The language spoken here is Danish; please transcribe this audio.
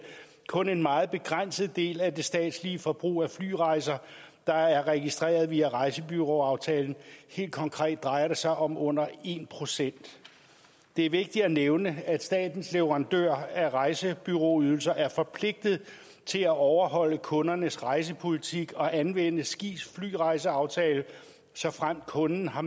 kun en meget begrænset del af det statslige forbrug af flyrejser der er registreret via rejsebureauaftalen helt konkret drejer det sig om under en procent det er vigtigt at nævne at statens leverandør af rejsebureauydelser er forpligtet til at overholde kundernes rejsepolitik og anvende skis flyrejseaftale såfremt kunden har